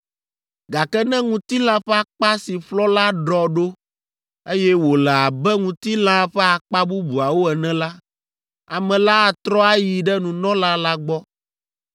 Gake ne ŋutilã ƒe akpa si ƒlɔ la ɖɔ ɖo, eye wòle abe ŋutilãa ƒe akpa bubuawo ene la, ame la atrɔ ayi ɖe nunɔla la gbɔ,